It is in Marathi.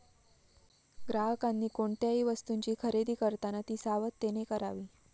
ग्राहकांनी कोणत्याही वस्तूंची खरेदी करताना ती सावधानतेने करावी.